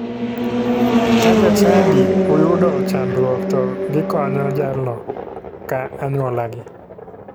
Ka jachadi uyudo chandruok to gikonyo jalno ka anyuolagi.